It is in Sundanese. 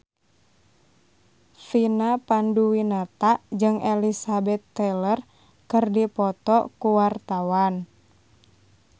Vina Panduwinata jeung Elizabeth Taylor keur dipoto ku wartawan